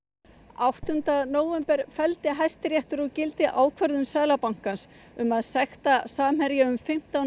áttunda nóvember felldi Hæstiréttur úr gildi ákvörðun Seðlabankans um að sekta Samherja um fimmtán